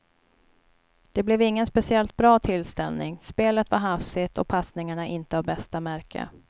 Det blev ingen speciellt bra tillställning, spelet var hafsigt och passningarna inte av bästa märke.